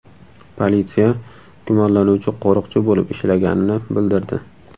Politsiya gumonlanuvchi qo‘riqchi bo‘lib ishlaganini bildirdi.